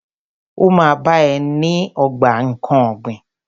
Ó ma bá ẹ ní ogbà nkán ọ̀gbìn.